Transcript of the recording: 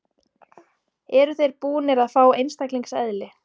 Eru þeir búnir að fá einstaklingseðli?